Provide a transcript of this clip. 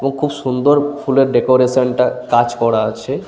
ও খুব সুন্দর ফুলের ডেকোরেশন -টা কাজ করা আছে।